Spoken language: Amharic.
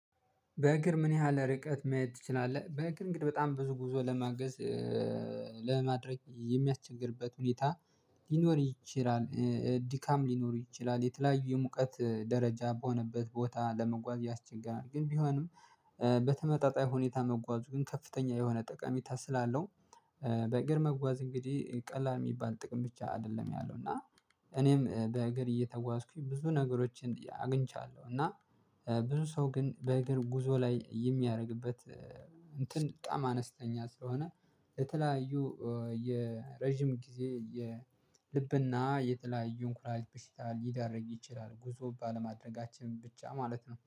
በእግር ምን ያህል ርቀት መሄድ ትችላለህ? በእግር እንግዲህ በጣም ብዙ ጉዞ ለማገዝ ለማድረግ የሚያስቸግርበት ሁኔታ ሊኖር ይችላል ድካም ሊኖር ይችላል የተለያዩ የሙቀት ደረጃ በሆነበት ቦታ ለመጓዝ ያስቸገራል ግን ቢሆንም በተመጣጣኝ ሁኔታ መጓዙ ግን ከፍተኛ የሆነ ጠቃሜታ ስላለው በእግር መጓዝ እንግዲህ ቀላል የሚባል ጥቅም ብቻ አይደለም ያለው እና እኔም በእግር እየተጓዝኩኝ ብዙ ነገሮችን አግኝቻለሁ እና ብዙ ሰው ግን በእግር ጉዞ ላይ የሚያደርግበት እንትን በጣም አነስተኛ ስለሆነ የተለያዩ የረጅም ጊዜ የልብና የተለያዩ የኩላሊት በሽታ ሊደረግ ይችላል ጉዞ ባለማድረጋችን ብቻ ማለት ነው።